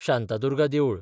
शांतादुर्गा देवूळ